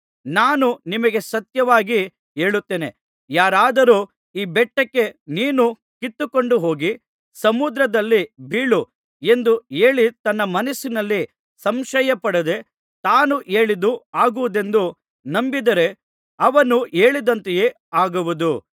ನಾನು ನಿಮಗೆ ಸತ್ಯವಾಗಿ ಹೇಳುತ್ತೇನೆ ಯಾರಾದರೂ ಈ ಬೆಟ್ಟಕ್ಕೆ ನೀನು ಕಿತ್ತುಕೊಂಡು ಹೋಗಿ ಸಮುದ್ರದಲ್ಲಿ ಬೀಳು ಎಂದು ಹೇಳಿ ತನ್ನ ಮನಸ್ಸಿನಲ್ಲಿ ಸಂಶಯಪಡದೆ ತಾನು ಹೇಳಿದ್ದು ಆಗುವುದೆಂದು ನಂಬಿದರೆ ಅವನು ಹೇಳಿದಂತೆಯೇ ಆಗುವುದು